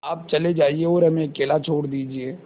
आप चले जाइए और हमें अकेला छोड़ दीजिए